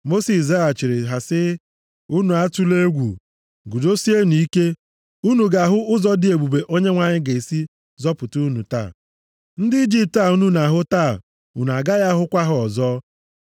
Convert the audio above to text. Mosis zaghachiri ha sị, “Unu atụla egwu. Guzosienụ ike. Unu ga-ahụ ụzọ dị ebube Onyenwe anyị ga-esi zọpụta unu taa. Ndị Ijipt a unu na-ahụ taa, unu agaghị ahụkwa ha ọzọ.